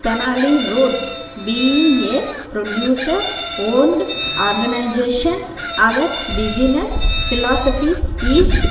tenali road being a producer owned organisation our business philosophy is --